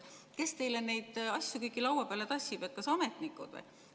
Kes teile neid asju kõiki laua peale tassib, kas ametnikud või?